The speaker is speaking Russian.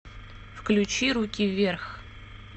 включи руки вверх